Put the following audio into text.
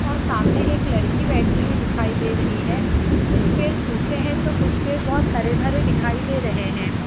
और सामने एक लड़की बैठी हुई दिखाई दे रही है कुछ पेड़ सूखे है तो कुछ पेड़ बहोत हरे-भरे दिखाई दे रहे है ।